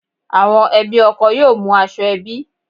Àwọn ẹbí ọkọ yóò mú aṣọ ẹbí